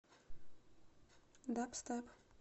дабстеп